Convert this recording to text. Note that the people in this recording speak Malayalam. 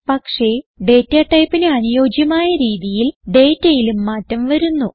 പക്ഷേ ഡേറ്റ ടൈപ്പിന് അനുയോജ്യമായ രീതിയിൽ ഡേറ്റയിലും മാറ്റം വരുന്നു